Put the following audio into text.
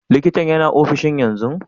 Likintan yana ofishin yanzu?